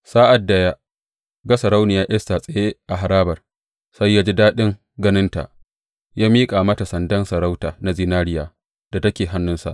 Sa’ad da ya ga Sarauniya Esta tsaye a harabar, sai ya ji daɗin ganinta, ya miƙa mata sandan sarauta na zinariya da take hannunsa.